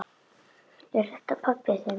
Er þetta pabbi þinn?